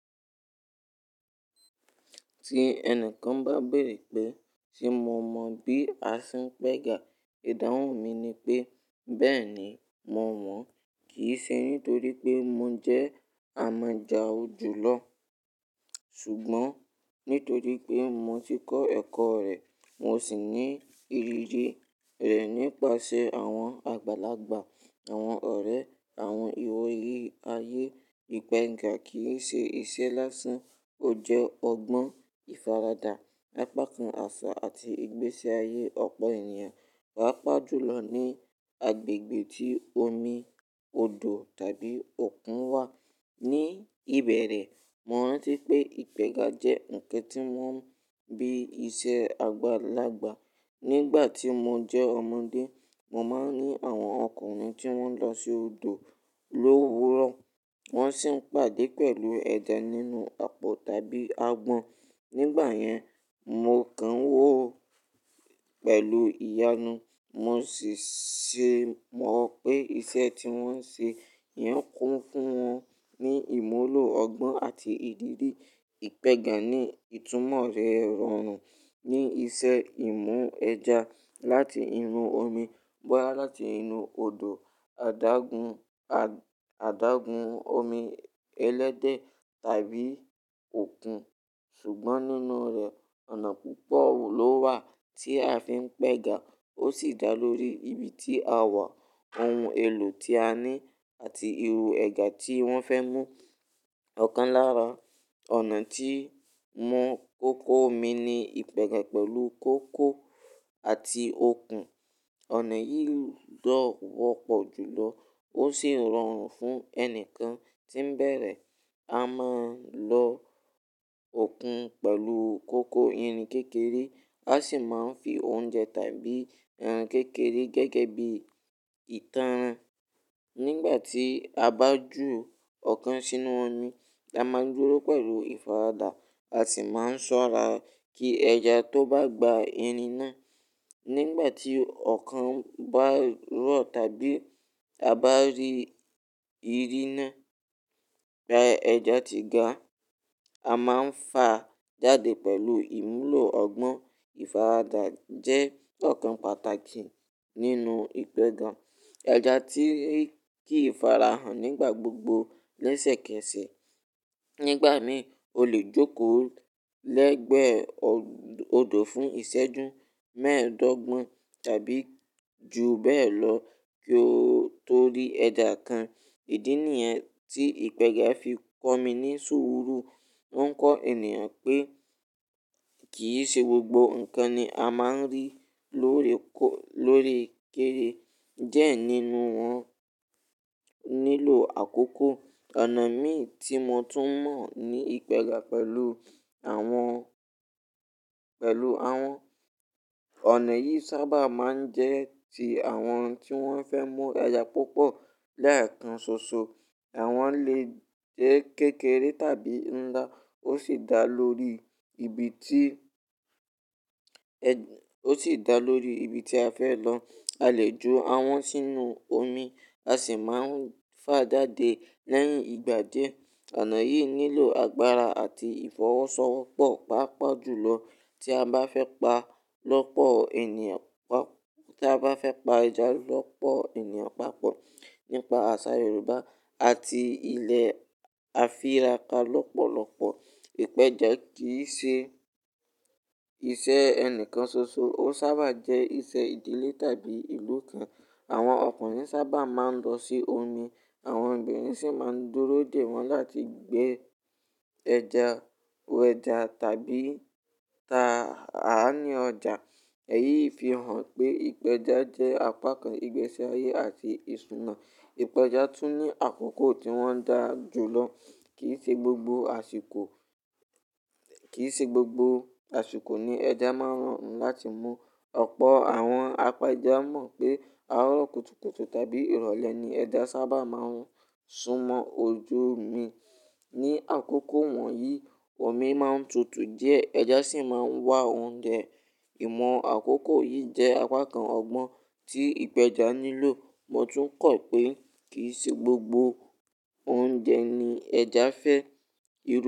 Tí ẹnìkan bá béèrè pé, ṣe mo mọ̀ bí a ṣe ń pẹ́ga? Ìdáhùn mi ni pé, bẹ́ẹ̀ni, mo mọ̀. Kì í ṣe nítorí pé mo jẹ́ amọ̀jà o jùlọ, ṣùgbọ́n nítorí pé mo ti kọ́ ẹ̀kọ́ rẹ̀, mo sì ní ìrírí rẹ̀ nípasẹ̀ àwọn àgbàlagbà, àwọn ọ̀rẹ́, àwọn ìwòye ayé. Ìpẹ́iga kì í ṣe iṣẹ́ lásán. Ó jẹ́ ọgbọ́n, ìfaradà, apá kan àṣà àti ìgbésí ayé ọ̀pọ̀ ènìyàn, pàápàá jùlọ ní agbègbè tí omi, odò tàbí òkun wà. Ní ìbẹ̀rẹ̀, mo rántí pé ìpẹ́ga jẹ́ ǹkan tí wọ́n ń bí iṣẹ́ àgbàlagbà. Nígbà tí mo jẹ́ ọmọdé, mo máa ń rí àwọn ọkùnrin tí wọ́n lọ sí odò lówuró, wọ́n sì ń pàdé pẹ̀lú ẹja nínú àpò tàbí agbọ̀n. Nígbà yẹn, mo kán nwò ó pẹ̀lú ìyanu, mo sì ṣe mọ̀ pé iṣẹ́ tí wọ́n ń ṣe yẹn kún fún wọn ní ìmúlò ọgbọ́n àti ìdírí. Ìpẹ́ga ní ìtumọ̀ rẹ̀ rọrùn. Ni iṣẹ́ ìmú ẹja láti inú omi, bóya láti inú odò, adágún, adágún omi ẹlẹ́dẹ̀ tàbí òkun. Ṣùgbọ́n nínú rẹ̀, ọ̀nà púpọ̀ ló wà tí a fi ń pẹ́ga. Ó sì dá lórí ibi tí a wà, ohun èlò tí a ní àti irú ẹja tí wọ́n fẹ́ mú. Ọ̀kan lára ọ̀nà tí ń mú kókó omi ni ìpẹ́ga pẹ̀lú kókò àti okùn. Ọ̀nà yìí lọ́ wọ́pọ̀ jùlọ ó sì rọrùn fún ẹnìkan tí ń bẹ̀rẹ̀. A máa ń lọ okùn pẹ̀lú kókó irin kékeré. A sì máa ń fi oúnjẹ tàbí ẹran kékeré gẹ́gẹ́ bí ìtànràn. Nígbà tí a bá ju ọ̀kan sínú omi, a máa dúró pẹ̀lú ìfaradà. A sì máa ń ṣọ́ra kí ẹja tó bá gba irin náà. Nígbà tí ọ̀kan bá rọ̀ tàbí a bá rí ìrínà pẹ ẹja ti ga, a máa fà á jáde pẹ̀lú ìmúlò ọgbọ́n. Ìfaradà jẹ́ ọ̀kan pàtàkì nínú ìpẹ́ga. Ẹja ti lè kí ìfarahàn nígbà gbogbo lẹ́sẹ̀kẹsẹ̀. Nígbà mi, o lè jókòó lẹ́gbẹ̀ẹ́ odò fún ìṣẹ́jú mẹ́ẹ̀ẹ́dọ́gbọ̀n tàbí ju bẹ́ẹ̀ lọ kí ó tó rí ẹja kan. Idí nìyẹn tí ìpẹ́ga fi kọ́ mi ní sùúrù. Wọ́n ń kọ ènìyàn pé kì í ṣe gbogbo nǹkan ni a máa ń rí lóore --lóori ke e diẹ́ nínú wọn nílò àkókò. Ọ̀nà mìi tí mo tún mọ̀ ní ìpẹ́ga pẹ̀lú àwọn pẹ̀lú àwọn ònà yìí sábà máa ń jẹ́ ti àwọn tí wọ́n fẹ́ mú ẹja púpọ̀. Léẹ̀kan ṣoṣo, àwọn lè jẹ́ kékeré tàbí ńlá. Ó sì dá lórí ibi tí-- ó sì dá lórí ibi tí a fẹ́ lọ. A lè ju àwọn sínú omi. A sì máa ń fà á jáde lẹ́yìn ìgbà díẹ̀. Ọ̀nà yìí nílò agbára àti ìfọwọ́sowọ́pọ̀, pàápàá jùlọ tí a bá fẹ́ pa lọ́pọ̀ ènìyàn, tí a bá fẹ́ pa ẹja lọ́pọ̀ ènìyàn pápọ̀. Nípa àṣà Yorùbá àti ilẹ̀ afira ká lọ́pọ̀lọpọ̀, ìpẹja kì í ṣe iṣẹ́ ẹnìkan ṣoṣo. Ó sábà jẹ́ iṣẹ́ ìdílé tàbí ìlú kan. Àwọn ọkùnrin sábà máa ń lọ sí omi. Àwọn obìnrin sì máa ń dúró dè wọ́n láti gbé ẹja, wẹ ẹja tàbí ta á ní ọjà. Èyí fi hàn pé ìpẹja jẹ́ apá kan ìgbésí ayé àti ìṣúná. Ìpẹja tún ní àkókò tí wọ́n dá ju lọ. Kì í ṣe gbogbo àsìkò, kì í ṣe gbogbo àsìkò ni ẹja máa ń rọrùn láti mú. Ọ̀pọ̀ àwọn apẹja mọ̀ pé àárọ̀ kùtùkùtù tàbí ìrọ̀lẹ́ ni ẹja sábà máa ń sún mọ́ ojú omi. Ní àkókò wọ̀nyí, omi máa ń tutù díẹ̀, ẹja sì máa ń wá oúnjẹ. Ìmọ̀ àkókò yìí jẹ́ apá kan ọgbọ́n tí ìpẹja nílò. Mo tún kọ̀ pé kì í ṣe gbogbo oúnjẹ ni ẹja fẹ́.